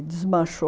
desmanchou